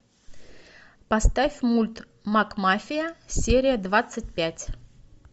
поставь мульт макмафия серия двадцать пять